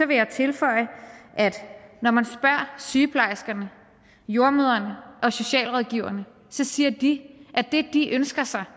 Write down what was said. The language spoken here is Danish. vil jeg tilføje at når man spørger sygeplejerskerne jordemødrene og socialrådgiverne siger de at det de ønsker sig